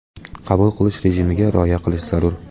Qabul qilish rejimiga rioya qilish zarur.